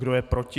Kdo je proti?